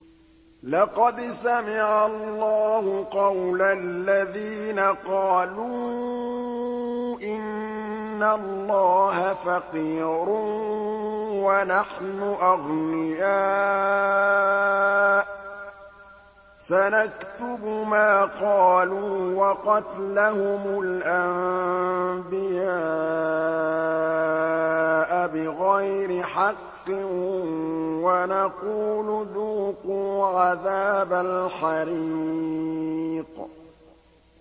لَّقَدْ سَمِعَ اللَّهُ قَوْلَ الَّذِينَ قَالُوا إِنَّ اللَّهَ فَقِيرٌ وَنَحْنُ أَغْنِيَاءُ ۘ سَنَكْتُبُ مَا قَالُوا وَقَتْلَهُمُ الْأَنبِيَاءَ بِغَيْرِ حَقٍّ وَنَقُولُ ذُوقُوا عَذَابَ الْحَرِيقِ